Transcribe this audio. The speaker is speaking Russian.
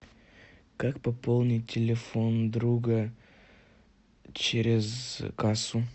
как пополнить телефон друга через кассу